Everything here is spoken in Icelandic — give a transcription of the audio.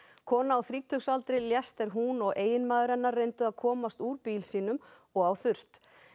kona á þrítugsaldri lést er hún og eiginmaður hennar reyndu að komast úr bíl sínum og á þurrt